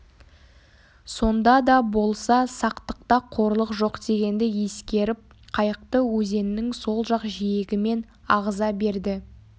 сонда да болса сақтықта қорлық жоқ дегенді ескеріп қайықты өзеннің сол жақ жиегімен ағыза берді